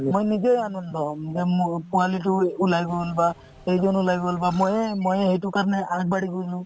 মই নিজেই আনন্দ হম যে মোৰ পোৱালিটো এই ওলাই গ'ল বা এই জন ওলাই গ'ল বা ময়ে ময়ে সেইটো কাৰণে আগবাঢ়ি গ'লো